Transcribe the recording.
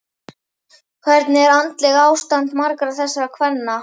Hvernig er andlegt ástand margra þessara kvenna?